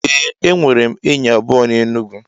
Ee enwerem enyi abuo n'Enugwu.